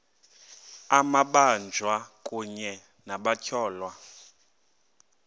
amabanjwa kunye nabatyholwa